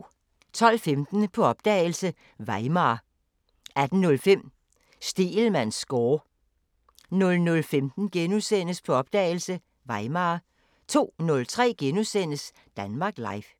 12:15: På opdagelse – Weimar 18:05: Stegelmanns score 00:15: På opdagelse – Weimar * 02:03: Danmark Live *